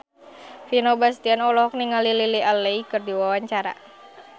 Vino Bastian olohok ningali Lily Allen keur diwawancara